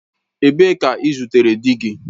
Ebee ka i zutere di gi?